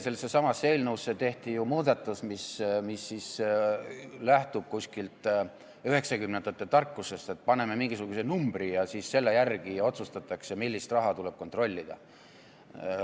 Selles eelnõus tehti ju muudatus, mis lähtub üheksakümnendate aastate tarkusest, et paneme mingisuguse numbri ja siis selle järgi otsustatakse, millist raha tuleb kontrollida.